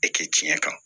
E kɛ tiɲɛ kan